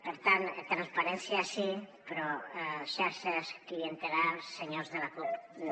per tant transparència sí però xarxes clientelars senyors de la cup no